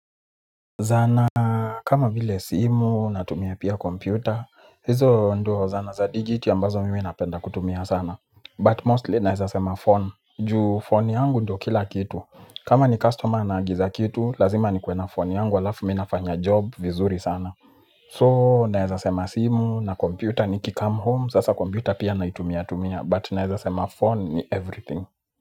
Zana kama vile simu natumia pia kompyuta, hizo nduo zana za digit ya mbazo mimi napenda kutumia sana But mostly naezasema phone, juu phone yangu ndo kila kitu, kama ni customer anagiza kitu, lazima ni kuena phone yangu alafu minafanya job vizuri sana So naezasema simu na kompyuta ni kicam home, sasa kompyuta pia naitumia tumia but naezasema phone ni everything.